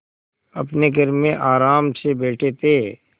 अपने घर में आराम से बैठे थे